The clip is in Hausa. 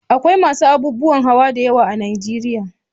Akwai masu abubuwan hawa da yawa a Najeriya.